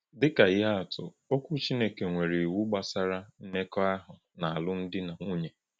Dị ka ihe atụ, Okwu Chineke nwere iwu gbasara mmekọahụ na alụmdi na nwunye.